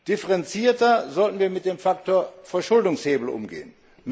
Differenzierter sollten wir mit dem Faktor Verschuldungshebel umgehen.